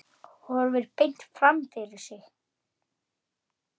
Horfir beint fram fyrir sig.